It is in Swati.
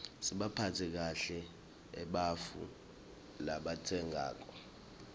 sibaphatse kahle ebarfu rabatsenqako